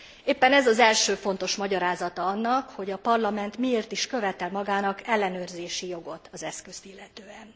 Éppen ez az első fontos magyarázata annak, hogy a Parlament miért is követel magának ellenőrzési jogot az eszközt illetően.